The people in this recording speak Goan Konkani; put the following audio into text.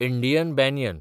Indian banyan